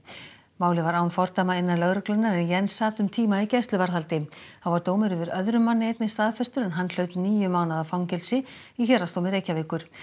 málið var án fordæma innan lögreglunnar en Jens sat um tíma í gæsluvarðhaldi þá var dómur yfir öðrum manni einnig staðfestur en hann hlaut níu mánaða fangelsi í Héraðsdómi Reykjavíkur